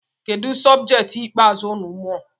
Kedụ sọbjet ikpeazụ unu mụrụ?